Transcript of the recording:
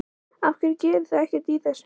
Af hverju gerið þið ekkert í þessu?